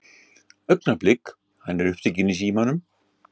Augnablik, hann er upptekinn í símanum.